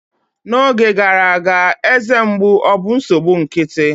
N'oge gara aga, eze mgbu obụ nsogbu nkịtị?